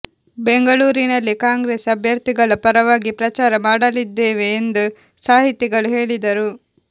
ಬೆಂಗಳೂರಿನಲ್ಲಿ ಕಾಂಗ್ರೆಸ್ ಅಭ್ಯರ್ಥಿಗಳ ಪರವಾಗಿ ಪ್ರಚಾರ ಮಾಡಲಿದ್ದೇವೆ ಎಂದು ಸಾಹಿತಿಗಳು ಹೇಳಿದರು